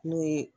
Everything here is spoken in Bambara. N'o ye